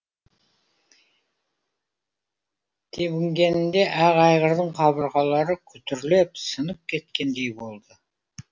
тебінгенінде ақ айғырдың қабырғалары күтірлеп сынып кеткендей болды